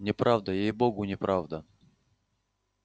неправда ей-богу неправда